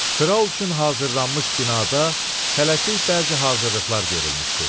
Kral üçün hazırlanmış binada tələsik bəzi hazırlıqlar görülmüşdü.